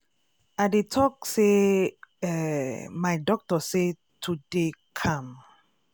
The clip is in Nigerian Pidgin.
i dey talk say eeh my doctor say to dey calm